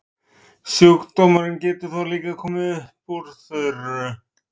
sjúkdómurinn getur þó líka komið fram upp úr þurru